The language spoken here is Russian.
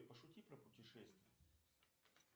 пошути про путешествия